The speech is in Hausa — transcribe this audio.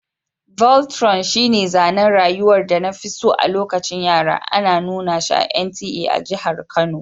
Voltron shine zanen rayuwar da na fi so a lokacin yara, ana nuna shi a NTA a jihar Kano.